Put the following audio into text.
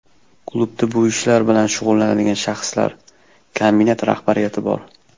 Klubda bu ishlar bilan shug‘ullanadigan shaxslar, kombinat rahbariyati bor.